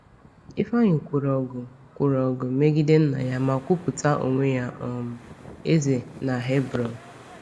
Ifeanyi kwụrụ ọgụ kwụrụ ọgụ megide nna ya ma kwupụta onwe ya um eze na Hebron.